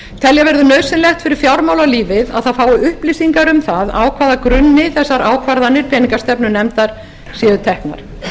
telja verður nauðsynlegt fyrir fjármálalífið að það fái upplýsingar um það á hvaða grunni þessar ákvarðanir peningastefnunefndar skulu teknar